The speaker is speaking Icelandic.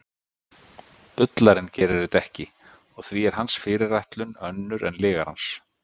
bullarinn gerir þetta ekki og því er hans fyrirætlun önnur en lygarans